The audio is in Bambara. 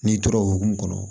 N'i tora o hukumu kɔnɔ